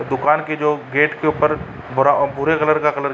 दुकान के जो गेट के ऊपर भूरे कलर का कलर --